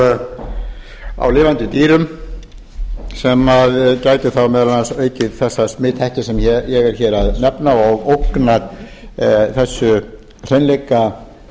kjöti á lifandi dýrum sem gætu þá meðal annars aukið þessa smithættu sem ég er hér að nefna og ógna þessari